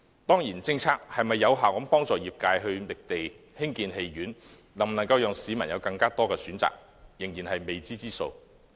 當然，政策能否有效幫助業界覓地興建戲院，為市民提供更多選擇，仍是未知之數。